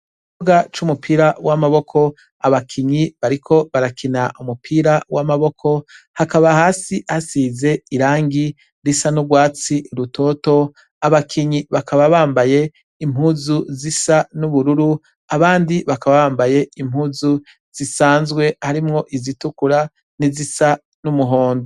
IKibuga c'umupira w'amaboko abakinyi bariko barakina umupira w'amaboko hakaba hasi hasize irangi risa n'ubwatsi rutoto abakinyi bakaba bambaye impuzu zisa n'ubururu abandi bakaba bambaye impuzu zisanzwe harimwo izitukura n'izisa n'umuhondo.